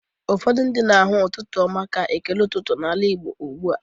Ụfọdụ mmadụ na-ahụ ụtụtụ ọma ka ekele ụtụtụ n'ala Igbo ugbu a.